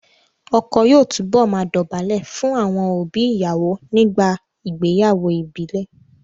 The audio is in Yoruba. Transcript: Ọkọ yóò túbọ̀ máa dọ̀bálẹ̀ fún àwọn òbí ìyàwó nígbà ìgbéyàwó ìbílẹ̀